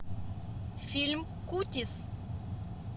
фильм кутис